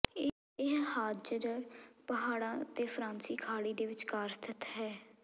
ਇਹ ਹਾਜਜਰ ਪਹਾੜਾਂ ਅਤੇ ਫ਼ਾਰਸੀ ਖਾੜੀ ਦੇ ਵਿਚਕਾਰ ਸਥਿਤ ਹੈ